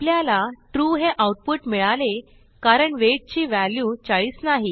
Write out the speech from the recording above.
आपल्याला ट्रू हे आऊटपुट मिळाले कारण वेट ची व्हॅल्यू 40 नाही